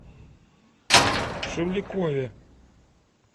шевлякове